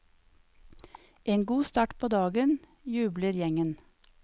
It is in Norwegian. En god start på dagen, jubler gjengen.